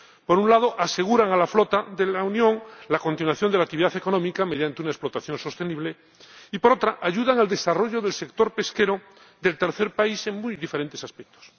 Por un lado, aseguran a la flota de la Unión la continuación de la actividad económica mediante una explotación sostenible y, por otro, ayudan al desarrollo del sector pesquero del tercer país en muy diferentes aspectos.